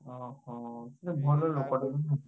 ଅ ହୋ! ସେ ଭଲ ନୁହେଁ?